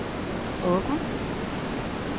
åben